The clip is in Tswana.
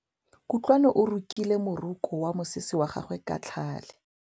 Kutlwanô o rokile morokô wa mosese wa gagwe ka tlhale.